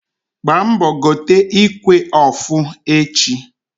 Gbaa mbọ gote ikwe ọfụ echi!